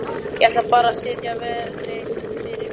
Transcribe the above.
Ég ætlaði bara að setja vírnet fyrir gatið